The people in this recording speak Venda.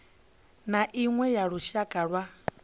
na iṅwe ya lushaka lwa